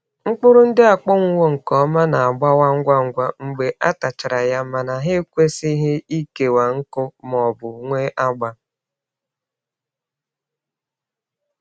Mkpụrụ ndị akpọnwụwo nke ọma na-agbawa ngwa ngwa mgbe a tachara ya mana ha ekwesịghị ịkewa nkụ ma ọ bụ nwee agba.